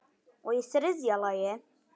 Og í þriðja lagi.